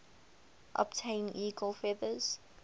obtain eagle feathers